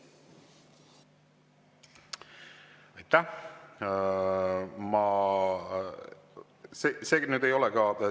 Aitäh!